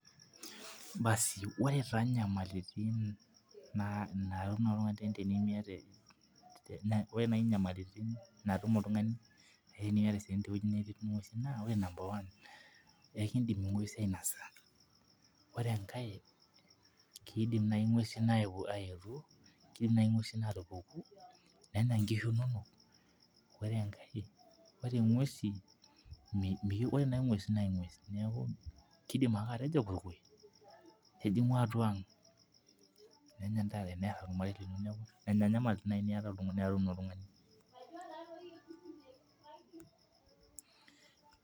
Basi ore taa nyamalitin naatumoki oltungani tenitum esiai te wueji netii nguesin. ore enkae, kidim naaji nguesin aayetu aatupuku, nenya nkishu inonok ore enkae, ore naa engues naa engues neeku, kidim ake atijingu atua ang. nenya ntare,